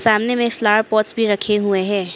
सामने में एक फ्लावर पॉट्स भी रखे हुए है।